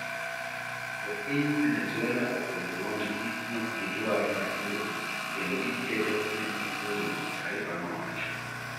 "Jopiny Venezuela ogolo duondgi ni okgidwar Maduro kendo gikedo ni uhuru"tarifano nowacho.